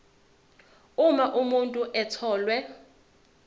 uma umuntu etholwe